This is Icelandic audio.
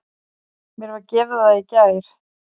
Mér var gefið það í gær.